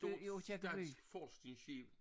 I Aakirkeby